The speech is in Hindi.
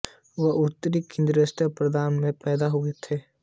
वह उत्तरी कुर्दिस्तान प्रांत में पैदा हुए थे